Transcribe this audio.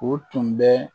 O tun bɛ